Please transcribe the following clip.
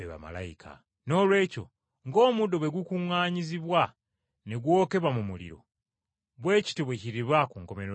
“Noolwekyo ng’omuddo bwe gwakuŋŋaanyizibwa ne gwokebwa mu muliro, bwe kityo bwe kiriba ku nkomerero y’ensi.